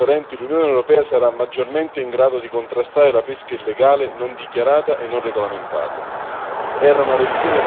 Grazie alle nuove norme più trasparenti, l'Unione europea sarà maggiormente in grado di contrastare la pesca illegale, non dichiarata e non regolamentata.